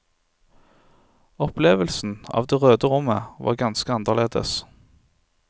Opplevelsen av det røde rommet var ganske annerledes.